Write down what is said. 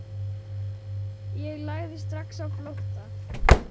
Ég lagði strax á flótta.